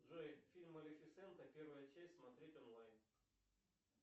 джой фильм малифисента первая часть смотреть онлайн